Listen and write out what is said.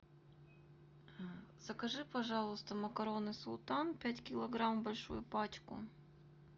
закажи пожалуйста макароны султан пять килограмм большую пачку